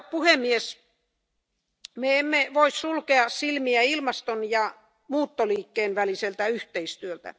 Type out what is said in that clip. Me emme voi sulkea silmiä ilmaston ja muuttoliikkeen väliseltä yhteistyöltä.